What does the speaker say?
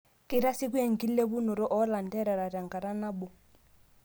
Keitasieku enkilepunoto oolanterera tenkata naboo.